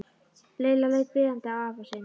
Lilla leit biðjandi á afa sinn.